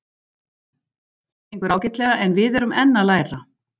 Það gengur ágætlega en við erum enn að læra.